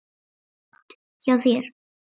Gott hjá þér.